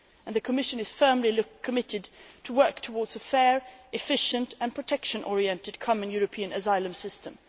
The Commission is firmly committed to working towards a fair, efficient and protection oriented common European asylum system.